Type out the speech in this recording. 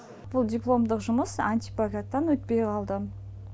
бұл дипломдық жұмыс антиплагиаттан өтпей қалды